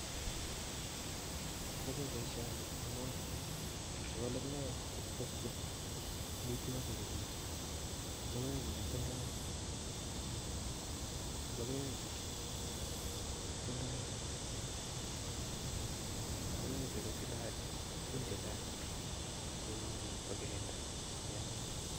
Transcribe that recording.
Achome boishoni amu Chu logoek che kitesyin amitwogiik eng maa, logoechu kotindoi tuguun chechang cheuchi kokirinda Mianwogiik